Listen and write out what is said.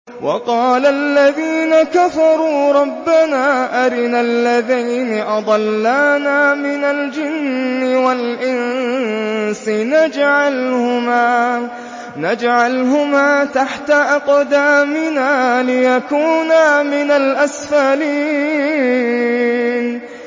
وَقَالَ الَّذِينَ كَفَرُوا رَبَّنَا أَرِنَا اللَّذَيْنِ أَضَلَّانَا مِنَ الْجِنِّ وَالْإِنسِ نَجْعَلْهُمَا تَحْتَ أَقْدَامِنَا لِيَكُونَا مِنَ الْأَسْفَلِينَ